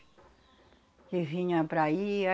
Que vinha para aí.